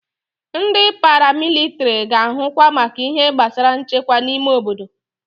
Ndị paramilitiri ga-ahụkwa maka ihe gbasara nchekwa n'ime obodo.